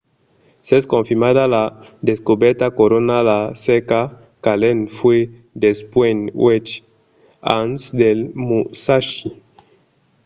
s'es confirmada la descobèrta corona la cerca qu'allen fa dempuèi uèch ans del musashi